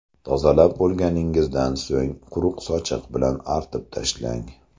Tozalab bo‘lganingizdan so‘ng quruq sochiq bilan artib tashlang.